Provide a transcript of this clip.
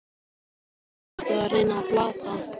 Hvern ertu að reyna að plata?